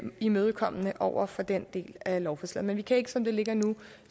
imødekommende over for den del af lovforslaget men vi kan ikke som det ligger nu